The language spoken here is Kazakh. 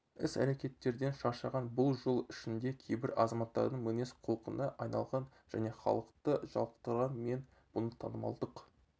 іс-әрекеттерден шаршаған бұл жыл ішінде кейбір азаматтардың мінез-құлқына айналған және халықты жалықтырған мен бұны танымалдық